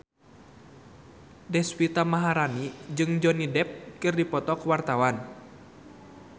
Deswita Maharani jeung Johnny Depp keur dipoto ku wartawan